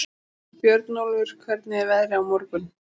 Björnólfur, hvernig er veðrið á morgun?